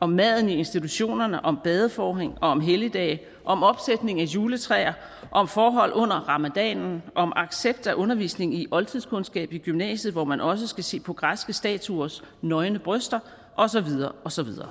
om maden i institutionerne om badeforhæng om helligdage om opsætning af juletræer om forhold under ramadanen om accept af undervisning i oldtidskundskab i gymnasiet hvor man også skal se på græske statuers nøgne bryster og så videre og så videre